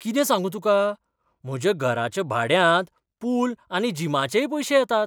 कितें सांगू तुका. म्हज्या घराच्या भाड्यांत पूल आनी जिमाचेय पयशे येतात.